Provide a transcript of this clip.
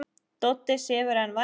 Doddi sefur enn vært.